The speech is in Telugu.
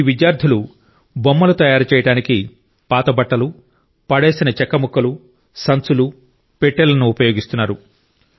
ఈ విద్యార్థులు బొమ్మలు తయారు చేయడానికి పాత బట్టలు పడేసిన చెక్క ముక్కలు సంచులు పెట్టెలను ఉపయోగిస్తున్నారు